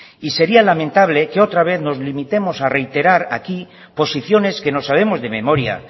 y sería lamentable que otra vez nos limitemos a reiterar aquí posiciones que nos sabemos de memoria